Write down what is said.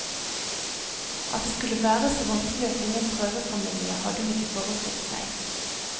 At det skulle være så vanskelig å finne en prøvefamilie, hadde hun ikke forestilt seg.